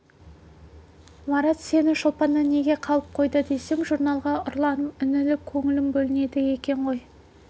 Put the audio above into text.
марат сені шолпаннан неге қалып қойды десем журналға ұрланып үңіліп көңілің бөлінеді екен ғой